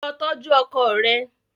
Lọ tọju ọkọ rẹ!